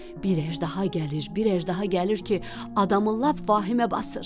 Bir əjdaha gəlir, bir əjdaha gəlir ki, adamın lap vahimə basır.